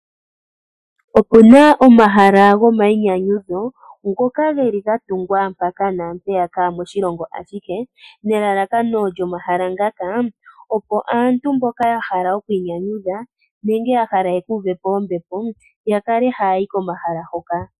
Opuna omahala gomainyanyudho ngoka geli gatungwa mpaka naampeyaka moshilongo ashihe nelalakano lyomahala ngaka opo aantu mboka ya hala okwiinyanyudha nenge ya hala yekuuvepo ombepo yakale haya yi komahala ngoka.